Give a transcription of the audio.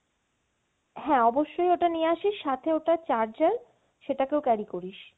হ্যাঁ অবশ্যই ওটা নিয়ে আসিস সাথে ওটার charger সেটা কেও carry করিস।